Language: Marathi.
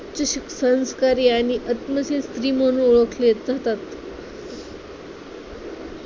अतिशय संस्कारी आणि आत्मचिंत स्त्री म्हणून ओळखले जातात.